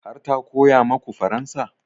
Har ta koya maku faransa?